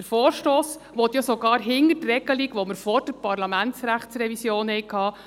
Der Vorstoss will ja sogar hinter die Regelung zurückgehen, die wir sie vor der Parlamentsrechtsrevision hatten.